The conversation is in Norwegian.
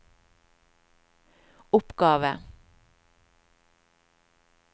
oppgave